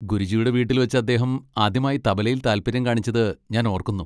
ഗുരുജിയുടെ വീട്ടിൽ വെച്ച് അദ്ദേഹം ആദ്യമായി തബലയിൽ താൽപ്പര്യം കാണിച്ചത് ഞാൻ ഓർക്കുന്നു.